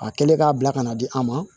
A kɛlen k'a bila ka na di an ma